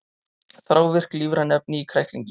Þrávirk lífræn efni í kræklingi